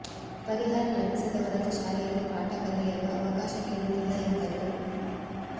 ಪರಿಹಾರ ಲಭಿಸದ ಹೊರತು ಶಾಲೆಯಲ್ಲಿ ಪಾಠ ಮಾಡಲು ಅವಕಾಶ ನೀಡುವುದಿಲ್ಲ ಎಂದರು